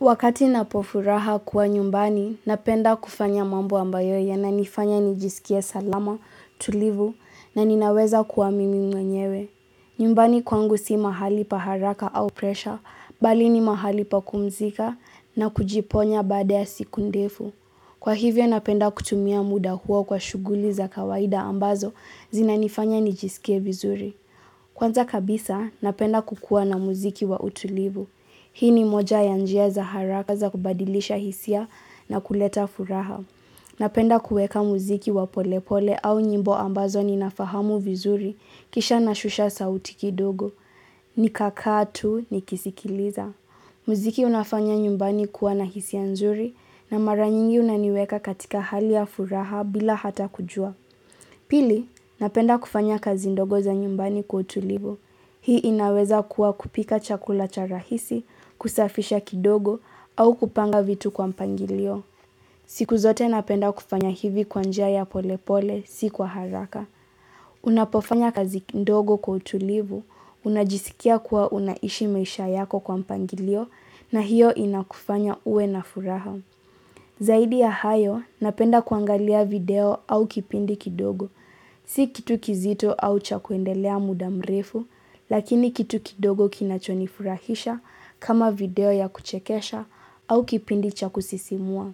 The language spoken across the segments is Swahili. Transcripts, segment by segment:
Wakati napofuraha kuwa nyumbani, napenda kufanya mambo ambayo yananifanya nijisikie salama, tulivu, na ninaweza kuwa mimi mwenyewe. Nyumbani kwangu si mahali pa haraka au presha, bali ni mahali pa kumzika na kujiponya baade ya siku ndifu. Kwa hivyo, napenda kutumia muda huo kwa shughuli za kawaida ambazo zina nifanya nijisikia vizuri. Kwanza kabisa, napenda kukua na muziki wa utulivu. Hii ni moja ya njia za haraka za kubadilisha hisia na kuleta furaha. Napenda kuweka muziki wa pole pole au nyimbo ambazo ni nafahamu vizuri kisha na shusha sauti kidogo. Ni kakaatu nikisikiliza. Muziki unafanya nyumbani kuwa na hisia nzuri na mara nyingi unaniweka katika hali ya furaha bila hata kujua. Pili, napenda kufanya kazi ndogo za nyumbani kwa utulivu. Hii inaweza kuwa kupika chakula cha rahisi, kusafisha kidogo, au kupanga vitu kwa mpangilio. Siku zote napenda kufanya hivi kwa njia ya polepole, si kwa haraka. Unapofanya kazi kidogo kwa utulivu, unajisikia kuwa unaishi maisha yako kwa mpangilio, na hiyo inakufanya uwe na furaha. Zaidi ya hayo, napenda kuangalia video au kipindi kidogo. Si kitu kizito au cha kuendelea muda mrefu, lakini kitu kidogo kinachonifurahisha kama video ya kuchekesha au kipindi cha kusisimua.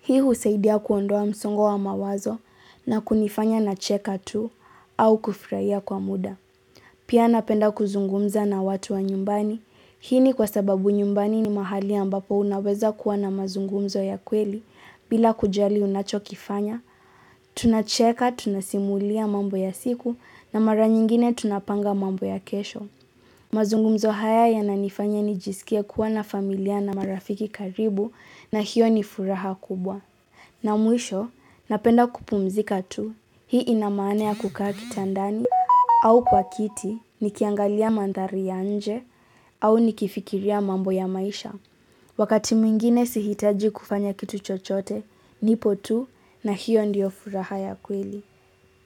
Hii husaidia kuondoa msongo wa mawazo na kunifanya na cheka tu au kufurahia kwa muda. Pia napenda kuzungumza na watu wa nyumbani. Hii ni kwa sababu nyumbani ni mahali ambapo unaweza kuwa na mazungumzo ya kweli bila kujali unachokifanya. Tunacheka, tunasimulia mambo ya siku na mara nyingine tunapanga mambo ya kesho. Mazungumzo haya yananifanya nijisikia kuwa na familia na marafiki karibu na hiyo ni furaha kubwa. Na mwisho, napenda kupumzika tu, hii inamanea kukaa kitandani, au kwa kiti, nikiangalia mandhari ya nje, au nikifikiria mambo ya maisha. Wakati mwingine sihitaji kufanya kitu chochote, nipo tu, na hiyo ndiyo furaha ya kweli.